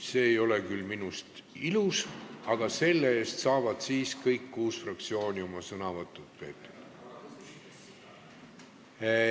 See ei ole minust küll ilus, aga selle eest saavad kõik kuus fraktsiooni oma sõnavõtu peetud.